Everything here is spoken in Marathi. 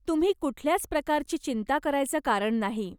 तुम्ही कुठल्याच प्रकारची चिंता करायचं कारण नाही.